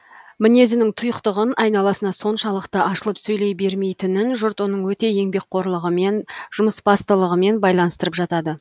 мінезінің тұйықтығын айналасына соншалықты ашылып сөйлей бермейтінін жұрт оның өте еңбекқорлығымен жұмысбастылығымен байланыстырып жатады